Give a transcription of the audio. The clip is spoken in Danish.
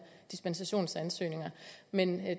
dispensationsansøgninger men